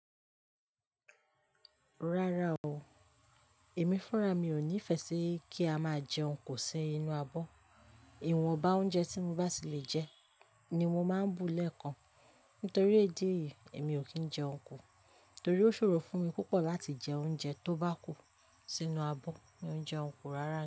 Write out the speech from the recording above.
Rárá o, èmi fúnra mi ò ní fẹ́ ṣe kí a máa jẹun ku si inú abọ́. Ìwọ̀nba oúnjẹ tí mo bá sì lè jẹ ni mo máa ń bu lẹ́ẹ̀kan. Nítorí idi eyìí èmi ò kí ń jẹun kò, torí ó ṣòro fún mi púpọ̀ láti jẹ oúnjẹ tó bá kù sínú abọ́ mi òun jeun ku rárá ni.